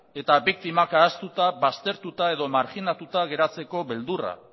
eta biktimak ahaztuta baztertuta edo marginatuta geratzeko beldurra